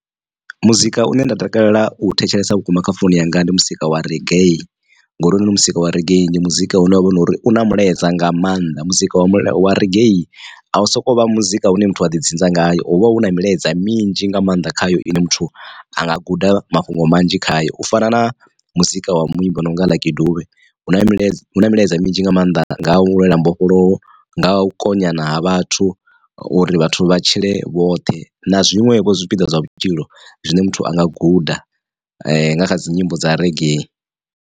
Muzika une nda takalela u thetshelesa vhukuma kha founu yanga ndi muzika wa reggae ngori hounoni muzika wa reggae. Ndi muzika une wavha hu nori una mulaedza nga maanḓa muzika wa reggae a u soko vha muzika hune muthu a ḓi dzinza ngayo hovha hu na milaedza minzhi nga maanḓa khayo ine muthu anga guda mafhungo manzhi khayo. U fana na muzika wa muimbi o nonga Lucky Dube, huna milaedza huna milaedza minzhi nga maanḓa nga u lwela mbofholowo nga u konyana ha vhathu uri vhathu vha tshile vhoṱhe na zwiṋwe vho zwipiḓa zwa vhutshilo zwine muthu anga guda nga kha dzi nyimbo dza reggae.